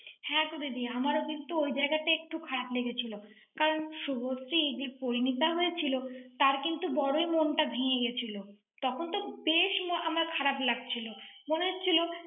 হ্যাঁ গো দিদি, আমারও কিন্তু ওই জায়গাটা একটু খারাপ লেগেছিল ৷ কারণ শুভশ্রী, পরিমিতা হয়েছিল, তাঁর কিন্তু বড়োই মনটা ভেঙে গিয়েছিল৷ তখন তো বেশ মন~ আমার খারাপ লাগছিল। মনে হচ্ছিল,